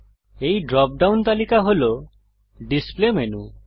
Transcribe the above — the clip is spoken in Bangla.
এই ড্রপডাউন তালিকা হল ডিসপ্লে মেনু